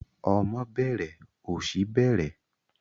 Ọmọ bẹẹrẹ, ọ̀ṣì bẹẹrẹ.